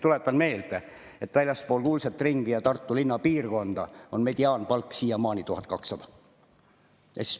Tuletan meelde, et väljaspool kuldset ringi ja Tartu linna piirkonda on mediaanpalk siiamaani 1200.